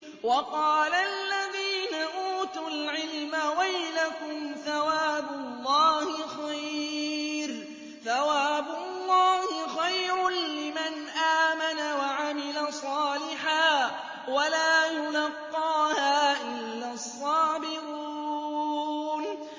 وَقَالَ الَّذِينَ أُوتُوا الْعِلْمَ وَيْلَكُمْ ثَوَابُ اللَّهِ خَيْرٌ لِّمَنْ آمَنَ وَعَمِلَ صَالِحًا وَلَا يُلَقَّاهَا إِلَّا الصَّابِرُونَ